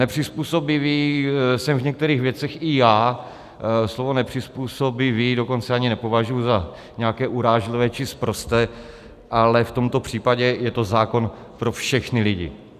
Nepřizpůsobivý jsem v některých věcech i já, slovo nepřizpůsobivý dokonce ani nepovažuji za nějaké urážlivé či sprosté, ale v tomto případě je to zákon pro všechny lidi.